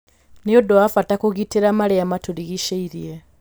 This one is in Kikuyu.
Nĩ ũndũ wa bata kũgitĩra marĩa matũrigicĩĩrie.